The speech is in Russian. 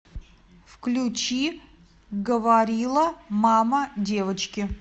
включи говорила мама девочки